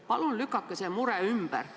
Palun lükake see mure ümber!